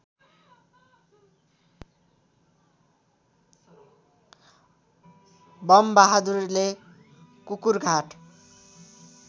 bomb बहादुरले कुकुरघाट